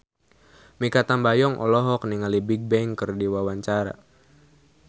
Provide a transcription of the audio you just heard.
Mikha Tambayong olohok ningali Bigbang keur diwawancara